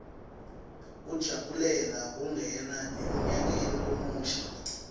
kujabulela kungena emnyakeni lomusha